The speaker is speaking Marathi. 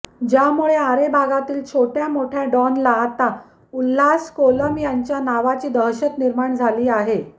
ज्यामुळे आरे भागातील छोट्या मोठ्या डॉनला आता उल्हास कोलम यांच्या नावाची दहशत निर्माण झाली आहे